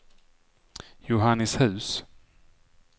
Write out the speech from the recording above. Johannishus